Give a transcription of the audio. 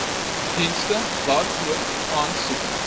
dienste waarvoor aansoek